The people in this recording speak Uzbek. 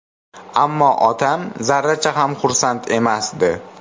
Ammo otam zarracha ham xursand emasdi.